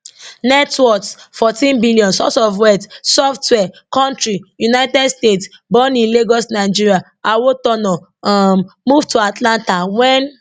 net worth14 billion source of wealth software kontri united states born in lagos nigeria awotona um move to atlanta wen